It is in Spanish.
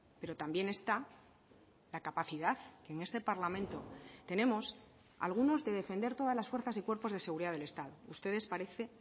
pero también está la capacidad en este parlamento tenemos algunos de defender todas las fuerzas y cuerpos de seguridad del estado ustedes parece